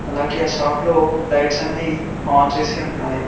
అలాగే షాప్ లో లైట్స్ అన్ని ఆన్ చేసి ఉన్నాయి.